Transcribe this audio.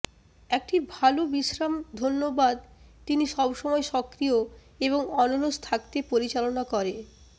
একটি ভাল বিশ্রাম ধন্যবাদ তিনি সবসময় সক্রিয় এবং অনলস থাকতে পরিচালনা করে